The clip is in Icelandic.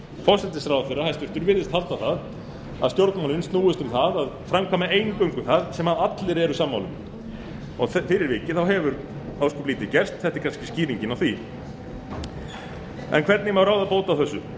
hæstvirtur forsætisráðherra virðist halda að stjórnmálin snúist um það að framkvæma eingöngu það sem allir eru sammála um fyrir vikið hefur ósköp lítið gerst þetta er kannski skýringin á því en hvernig má ráða bót á þessu